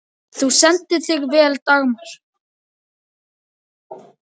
Þú stendur þig vel, Dagmar!